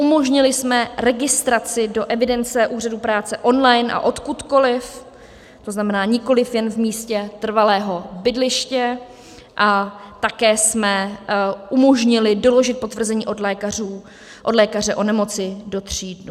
Umožnili jsme registraci do evidence úřadů práce online a odkudkoliv, to znamená nikoliv jen v místě trvalého bydliště, a také jsme umožnili doložit potvrzení od lékaře o nemoci do tří dnů.